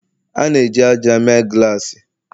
A na-eji ájá mee glassi